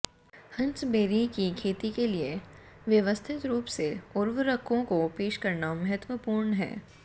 हंसबेरी की खेती के लिए व्यवस्थित रूप से उर्वरकों को पेश करना महत्वपूर्ण है